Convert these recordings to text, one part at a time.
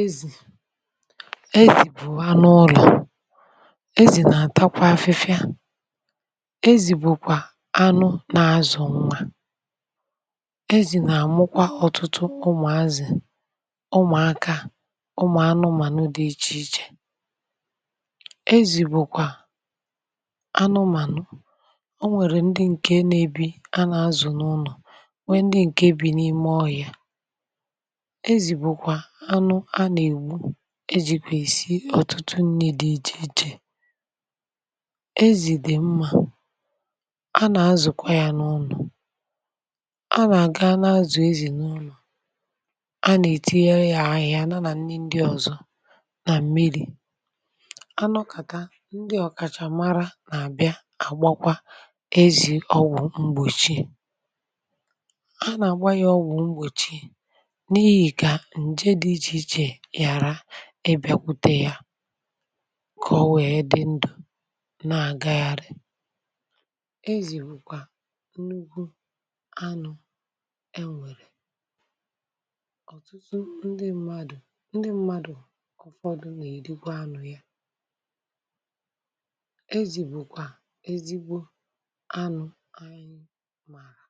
Ezi bu anu ulo Ezi na atakwa afifia Ezi bukwa anu na azu nwa Ezi na amukwa otutu umu azi umu aka umu anumanu di iche iche Ezi bukwa anumanu enwere ndi nke na ebi a n'azu n'ime ulo nwee ndi nke bi n'ime ohia Ezi bukwa anu a na egbu ejikwe esi otutu nri di iche iche Ezi di mma a na azukwa n'ulo a na aga a na azu ezi n'ulo a na etinyere ya ahiha ya na nri ndi ozo na mmiri anokata ndi okachamara n'abia agbakwa ezi ogwu mgbochi a na agba ya ogwu mgbochi n'ihi ka nje di iche iche yara ibiakwute ya ka o wee di ndu na agaghari ezi bukwa nnukwu anu enwere otutu ndi mmadu ndi mmadu ufodu na erikwa anu ya ezi bukwa Ezigbo anu anyi mara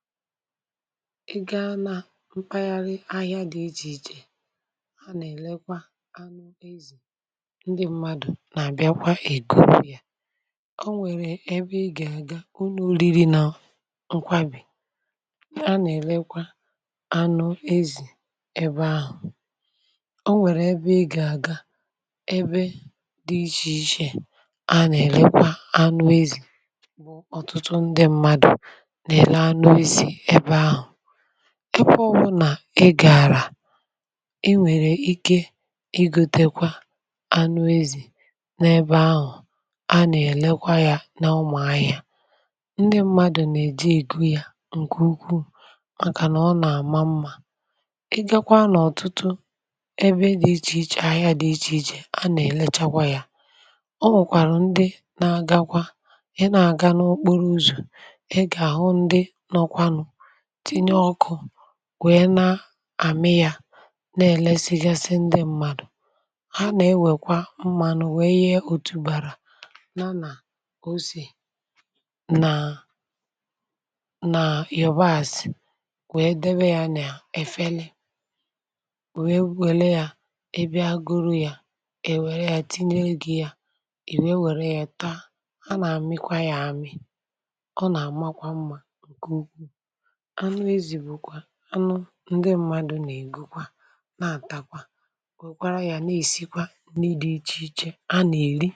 I ga na mkpaghari ahia di iche iche a na elekwa anu ezi ndi mmadu na abiakwa ego ya onwere ebe I ga aga ulo oriri na nkwari a na elekwa anu ezi ebe ahu onwere ebe I ga aga ebe di iche iche a na elekwa anu ezi bu otutu ndi mmadu na ele anu ezi ebe ahu ebe obuna i gara i nwere Ike igotekwa anu ezi na ebe ahu a na elekwa ya n'umuahia ndi mmadu na eje ego ya nke ukwuu maka na ona ama mma i gakwa n'otutu ebe di iche iche ahia di iche iche a na elechakwa ya o nwekwara ndi n'agakwa i na aga n'okporo uzo i ga ahu ndi nnokwa nu tinye oku wee na ami ya n'elesigasi ndi mmadu a na ewekwa mmanu wee yee otubara ya na ose na na yabasi hmm wee debe ya n'ofu afele wee welu ya i bia guru ya ewere ya tinyelu gi i wee welu ya taa a na amikwa ya ami o na amakwa mma nke ukwuu. Anu ezi bukwa anu ndi mmadu na egokwa na atakwa wekwara ya n'esikwa nri di iche iche a na eri.